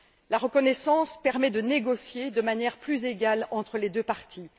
La reconnaissance permet de négocier de manière plus égale entre les deux parties.